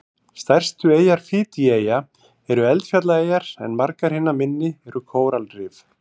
Stærstu eyjar Fídjieyja eru eldfjallaeyjar en margar hinna minni eru kóralrif.